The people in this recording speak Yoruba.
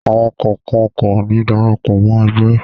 Àwọn kọ̀ọ̀kan kò ní darapọ̀ mọ́ ẹgbẹ́.